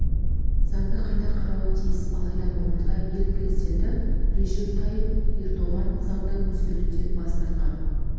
заңды қайта қарауы тиіс алайда мамырда ел президенті режеп тайып ердоған заңды өзгертуден бас тартқан